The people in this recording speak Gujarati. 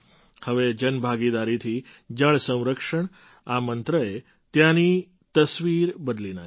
હવે જન ભાગીદારીથી જળ સંરક્ષણ આ મંત્રએ ત્યાંની તસવીર બદલી નાખી છે